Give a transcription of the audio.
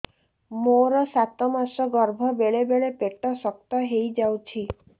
ମୋର ସାତ ମାସ ଗର୍ଭ ବେଳେ ବେଳେ ପେଟ ଶକ୍ତ ହେଇଯାଉଛି